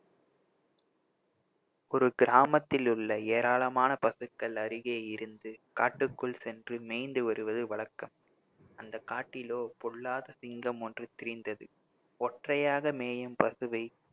ஒரு கிராமத்தில் உள்ள ஏராளமான பசுக்கள் அருகே இருந்து காட்டுக்குள் சென்று மேய்ந்து வருவது வழக்கம் அந்த காட்டிலோ பொல்லாத சிங்கம் ஒன்று திரிந்தது ஒற்றையாக மேயும் பசுவை